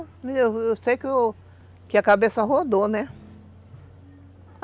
Eu sei sei que a cabeça rodou, né?